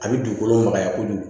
A bɛ dugukolo magaya kojugu